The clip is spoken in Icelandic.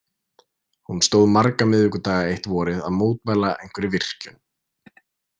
Hún stóð marga miðvikudaga eitt vorið að mótmæla einhverri virkjun.